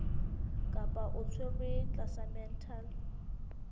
kapa o tshwerwe tlasa mental